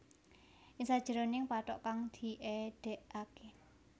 Ing sajeroning pathok kang diedekake